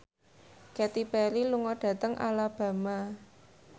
Katy Perry lunga dhateng Alabama